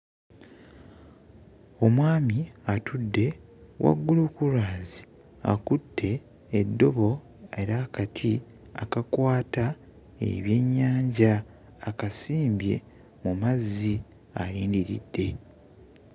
Omusajja atudde waggulu ku lwazi akutte eddobo era akati akakwata ebyennyanja akasimbye mu mazzi ayimiridde.